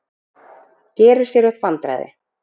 Gerir sér upp vandræði.